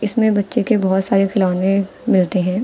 इसमें बच्चे के बहुत सारे खिलौने मिलते हैं।